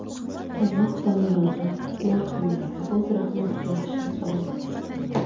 Alloh taolodan marhumlarni o‘z rahmatiga olishini so‘raymiz.